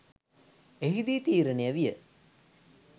එහිදී තීරණය විය